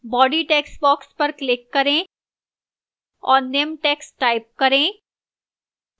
body textbox पर click करें और निम्न text type करें